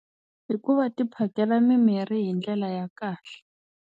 Hikuva tiphakela mimirhi hi ndlela ya kahle.